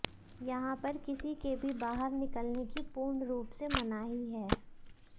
यहां पर किसी के भी बाहर निकलने की पूर्ण रूप से मनाही है